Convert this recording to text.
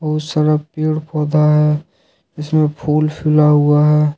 बहुत सारा पेड़ पौधा है जिसमें फूल फूला हुआ हैं।